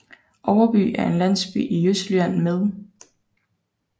Overby er en landsby i Østjylland med